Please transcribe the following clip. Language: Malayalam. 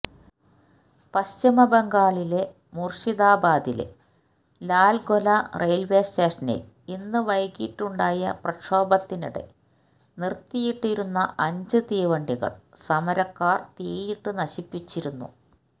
പശ്ചിമബംഗാളിലെ മുര്ഷിദാബാദിലെ ലാല്ഗൊല റെയില്വേസ്റ്റേഷനില് ഇന്ന് വൈകിട്ടുണ്ടായ പ്രക്ഷോഭത്തിനിടെ നിര്ത്തിയിട്ടിരുന്ന അഞ്ച് തീവണ്ടികള് സമരക്കാര് തീയിട്ടു നശിപ്പിച്ചിരുന്നു